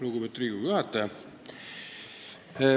Lugupeetud Riigikogu juhataja!